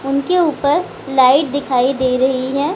उनके उपर लाइट दिखाई दे रही है।